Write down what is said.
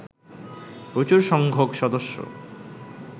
প্রচুর সংখ্যক সদস্য